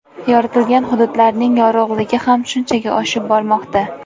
Yoritilgan hududlarning yorug‘ligi ham shunchaga oshib bormoqda.